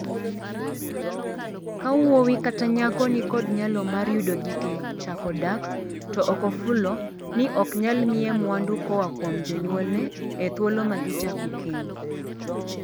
Ka wuowi kata nyako ni kod nyalo mar yudo gige chako dak to ok ofulo ni ok nyal miye mwandu koa kuom jonyuolne e thuolo ma gichako keny.